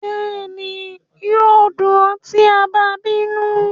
Bẹẹni, yoo dun ọ ti a ba binu